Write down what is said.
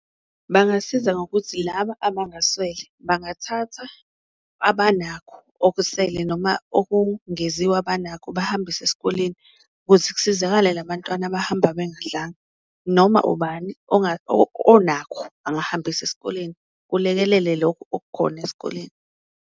Bangasiza ngokuthi laba abangaswele bangathatha abanakho okusele noma okungeziwe abanakho bahambise esikoleni, kuze kusizakale labantwana abahamba bengadlanga. Noma ubani onakho angahambisa esikoleni kulekelele lokhu okukhona esikoleni.